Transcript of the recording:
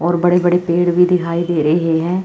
और बड़े बड़े पेड़ भी दिखाई दे रहे हैं।